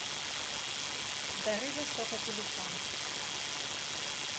дары востока телефон